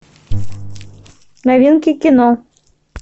новинки кино